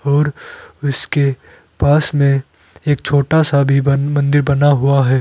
और इसके पास में एक छोटा सा भी मंदिर भी बना हुआ है।